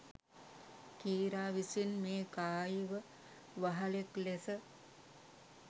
කීරා විසින් මේ කායීව වහලෙක් ලෙස